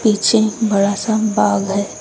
पीछे बड़ा सा बाग है।